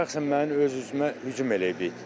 Şəxsən mənim öz üzümə hücum eləyib it.